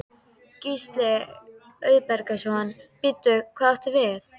Gísli Auðbergsson: Bíddu, hvað áttu við?